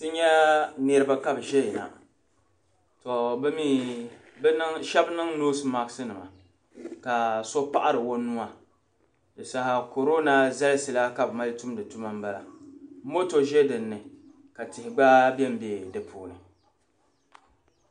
Ti nya nirib ka bi zɛya na, tɔ bimi shab niŋ nose mat nima kaso paɣiri onuuwa dinsaha koroona zalisi la kabi mali tumdi tuma nbala moto zɛ dini ka tihi gba benbe di puuni